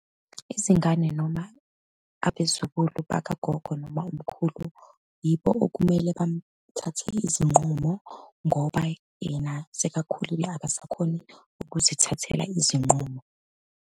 Izingane noma abezukulu bakagogo noma umkhulu, yibo okumele bamthathe izinqumo ngoba yena sekakhulile, akasakhoni ukuzithathela izinqumo.